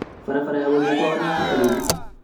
Barabara ya gũthiĩ kwao nĩ ya tĩri